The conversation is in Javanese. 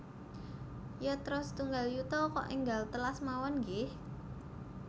Yatra setunggal yuta kok enggal telas mawon nggeh